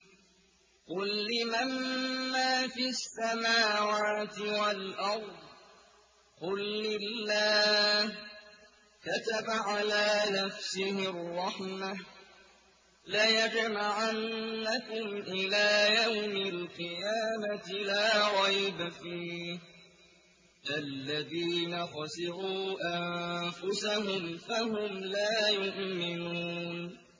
قُل لِّمَن مَّا فِي السَّمَاوَاتِ وَالْأَرْضِ ۖ قُل لِّلَّهِ ۚ كَتَبَ عَلَىٰ نَفْسِهِ الرَّحْمَةَ ۚ لَيَجْمَعَنَّكُمْ إِلَىٰ يَوْمِ الْقِيَامَةِ لَا رَيْبَ فِيهِ ۚ الَّذِينَ خَسِرُوا أَنفُسَهُمْ فَهُمْ لَا يُؤْمِنُونَ